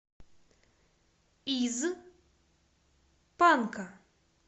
из панка